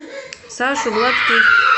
сашу гладких